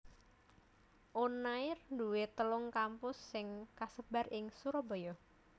Unair duwé telu kampus sing kasebar ing Surabaya